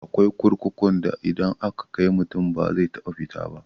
Akwai kurkukun da idan an kai mutum ba zai taba fita ba.